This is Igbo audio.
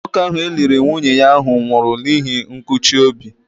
Nwoke ahụ e liri ụnyaahụ nwụrụ n'ihi nkụchi obi.